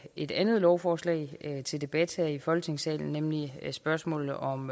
et andet lovforslag til debat her i folketingssalen nemlig spørgsmålet om